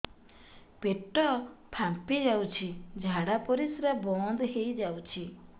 ପେଟ ଫାମ୍ପି ଯାଉଛି ଝାଡା ପରିଶ୍ରା ବନ୍ଦ ହେଇ ଯାଉଛି